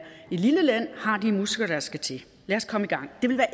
lille land har de muskler der skal til lad os komme i gang det vil være